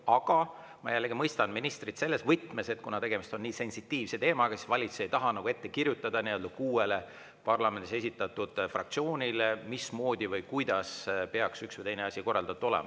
Aga ma jällegi mõistan ministrit selles võtmes, et kuna tegemist on nii sensitiivse teemaga, ei taha valitsus kuuele parlamendis esindatud fraktsioonile ette kirjutada, mismoodi või kuidas peaks üks või teine asi korraldatud olema.